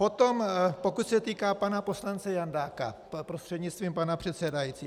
Potom pokud se týká pana poslance Jandáka, prostřednictvím pana předsedajícího.